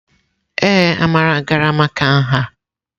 Ee, Amara gara maka nha.